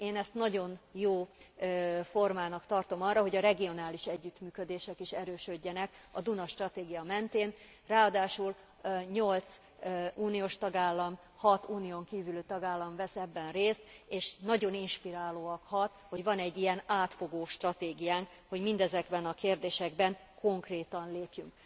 Én ezt nagyon jó formának tartom arra, hogy a regionális együttműködések is erősödjenek a Duna stratégia mentén, ráadásul nyolc uniós tagállam, hat unión kívüli tagállam vesz ebben részt, és nagyon inspirálóan hat, hogy van egy ilyen átfogó stratégiánk, hogy mindezekben a kérdésekben konkrétan lépjünk.